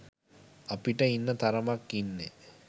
අපිට ඉන්න තරමක් ඉන්නෙ